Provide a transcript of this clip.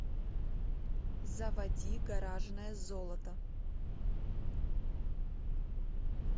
заводи гаражное золото